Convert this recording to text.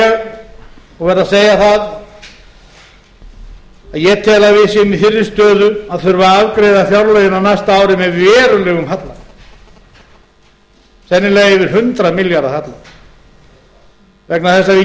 og verð að segja það að ég tel að við séum í þeirri stöðu að þurfa að afgreiða fjárlögin á næsta ári með verulegum halla sennilega eftir hundrað milljarða halla vegna þess að